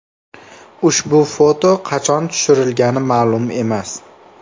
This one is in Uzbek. Ushbu foto qachon tushirilgani ma’lum emas.